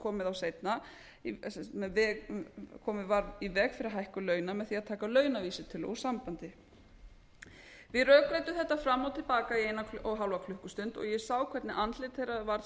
komið var í veg fyrir hækkun launa með því að taka launavísitölu úr sambandi við rökræddum þetta fram og tilbaka í eina og hálfa klukkustund og ég sá hvernig andlit þeirra varð